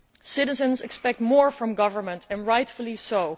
Citizens expect more from governments, and rightfully so.